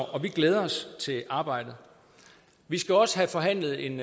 og vi glæder os til arbejdet vi skal også have forhandlet en